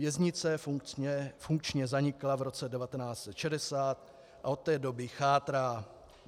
Věznice funkčně zanikla v roce 1960 a od té doby chátrá.